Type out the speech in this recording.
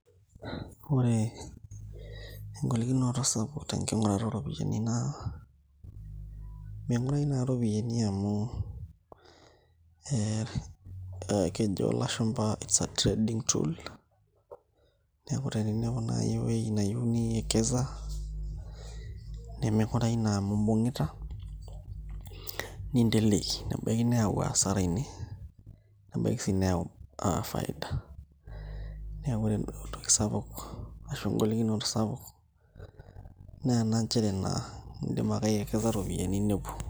Ore engolikinoto sapuk tenking'urata ooropiyiani naa ming'urayu naa iropiyiani amu ee kejo ilashumba its a trading tool neeku teninepu naai ewuei nayieu niekeza neming'urayu naa amu imbungita ninteleiki nebaiki nayau asara ine nebaiki sii neyau faida, neeku ore duo entoki sapuk ash engolikinoto sapuk naa ena nchere naa indim ake aiekeza iropiyiani nepuo.